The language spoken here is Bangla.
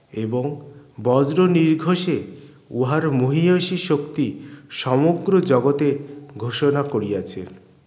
এবং বজ্র নিরঘোষে উহার মহিয়সী শক্তি সমগ্র জগতে ঘোষণা করিয়াছে